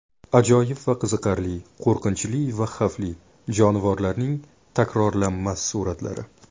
Ajoyib va qiziqarli, qo‘rqinchli va xavfli: jonivorlarning takrorlanmas suratlari.